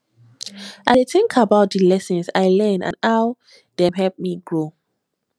i dey think about di lessons i learn and how dem help me grow